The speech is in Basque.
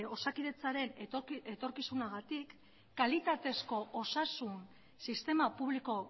osakidetzaren etorkizunagatik kalitatezko osasun sistema publiko